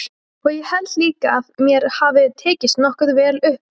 Og ég held líka að mér hafi tekist nokkuð vel upp.